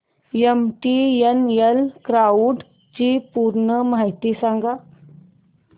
MTNL cloud ची पूर्ण माहिती सांग